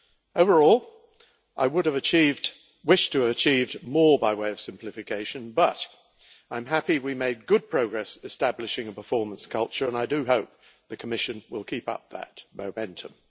Overall, I would have wished to have achieved more by way of simplification, but I am happy that we made good progress establishing a performance culture, and I hope the Commission will keep up that momentum.